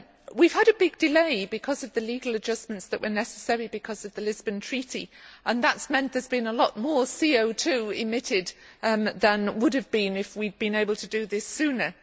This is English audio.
We have had a big delay because of the legal adjustments that were necessary because of the Lisbon Treaty, and that has meant that there has been a lot more CO emitted than would have been if we had been able to do this sooner.